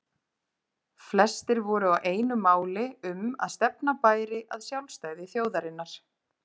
Flestir voru á einu máli um að stefna bæri að sjálfstæði þjóðarinnar.